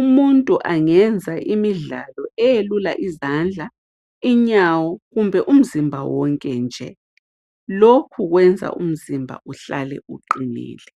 Umuntu angenza imidlalo eyelula izandla, inyawo, kumbe umzimba wonke nje, lokhu kwenza umzimba uhlale uqinile.